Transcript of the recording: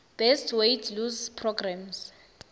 best weight lose programs